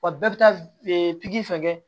Wa bɛɛ bɛ taa pikiri fɛ kɛ